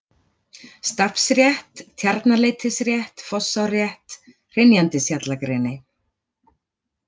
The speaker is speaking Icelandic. Stafnsrétt, Tjarnarleitisrétt, Fossárrétt, Hrynjandishjallagreni